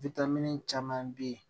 caman be yen